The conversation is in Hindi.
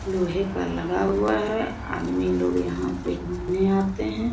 लोहे का लगा हुआ है आदमी लोग यहाँ पे घूमने आते हैं।